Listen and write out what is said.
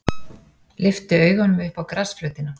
Lyfti augunum upp á grasflötina.